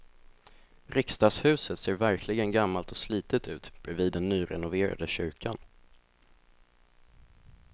Riksdagshuset ser verkligen gammalt och slitet ut bredvid den nyrenoverade kyrkan.